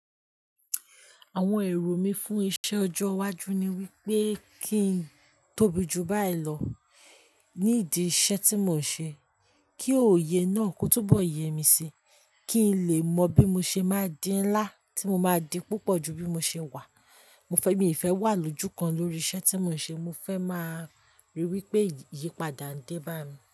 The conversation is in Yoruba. Àwọn èrò mí fún iṣẹ ọjọ́ iwájú ni wípé kí n tóbi jù báyìí lọ ní ìdí iṣẹ́ tí mò ń ṣe, kí òye náà kó túbọ̀ yẹ mí síi, kí n lè mọ bí mo ṣe máa dí ńlá tí mo máa di púpọ̀ ju bí mo ṣe wà. Mo fẹ́, mi ì fẹ́ wà lójúkan lórí iṣẹ́ tí mò ń ṣe. Mo fẹ́ máa rí wípé ìyípadà ń dẹ́ bá mi.